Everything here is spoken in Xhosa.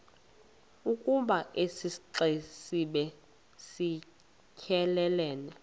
ukoba isixesibe siyelelene